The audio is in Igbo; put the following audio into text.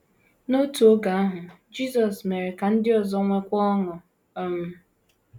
N’otu oge ahụ, Jisọs mere ka ndị ọzọ nwekwuo ọṅụ um.